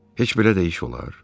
Heç belə də iş olar?